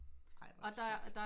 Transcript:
Ej hvor sørgeligt